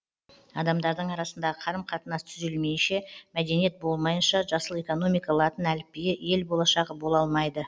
адамдардың арасындағы қарым қатынас түзелмейінше мәдениет болмайынша жасыл экономика латын әліпбиі ел болашағы бола алмайды